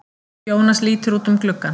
Jónas lítur út um gluggann.